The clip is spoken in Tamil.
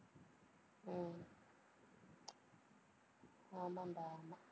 உம் ஆமாண்டா, ஆமா